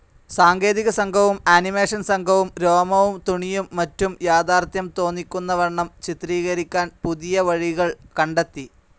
സാങ്കേതികസംഘവും animation സംഘവും രോമവും തുണിയും മറ്റും യാഥാർത്ഥ്യം തോന്നിക്കുന്നവണ്ണം ചിത്രീകരിക്കാൻ പുതിയ വഴികൾ കണ്ടെത്തി.